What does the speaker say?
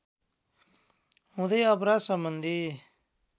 हुँदै अपराध सम्बन्धी